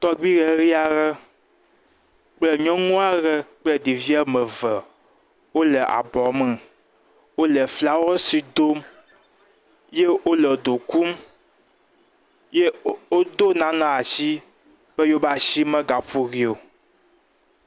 Tɔgbui ɖeɖi aɖe kple nyɔnu aɖe kple ɖeviwo ame eve wole abɔ me wole flawɛsi dom ye wole ye wole do kum ye wode nane asi be yewo be asi megaƒo ɖi o